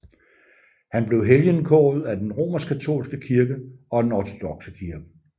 Han blev helgenkåret af den romerskkatolske kirke og af den ortodokse kirke